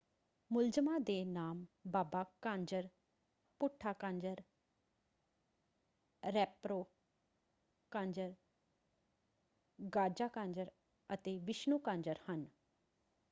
ਮੁਲਜ਼ਮਾਂ ਦੇ ਨਾਮ ਬਾਬਾ ਕਾਂਜਰ ਭੂਠਾ ਕਾਂਜਰ ਰੈਂਪਰੋ ਕਾਂਜਰ ਗਾਜ਼ਾ ਕਾਂਜਰ ਅਤੇ ਵਿਸ਼ਣੂ ਕਾਂਜਰ ਹਨ।